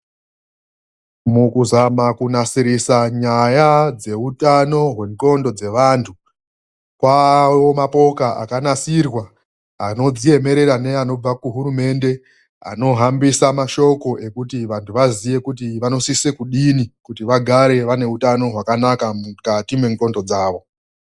Mukuzama kunasirisa nyaya dzehutano hwenxondo dzevandu, kwavawo ne mapoka akanasiriwa anodziemerera neanobva kuhurumende, anohambisa nemashoko ekuti vandu vazive kuti vanosisa kudini kuti vagare vane hutano hwakanaka mukati menxondo dzavo.